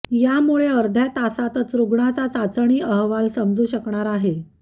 यामुळे अर्ध्या तासातच रुग्णाचा चाचणी अहवाल समजू शकणार आहे